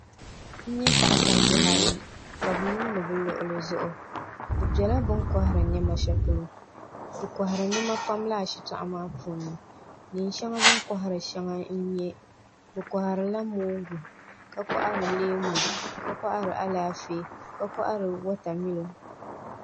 N nyɛ paɣasari bihi ayi ka bi yuundi bi luɣuli zuɣu bi biɛla bin kohari niɛma shɛli polo bi kohari niɛma pam laa shitoɣu maa puuni neen shɛŋa bin kohari shɛŋa n nyɛ bi koharila mongu ka kohari Alaafee ka kohari wotamilo